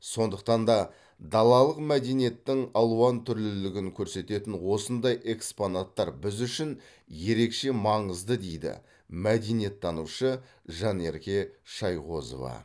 сондықтан да далалық мәдениеттің алуантүрлілігін көрсететін осындай экспонаттар біз үшін ерекше маңызды дейді мәдениеттанушы жанерке шайғозова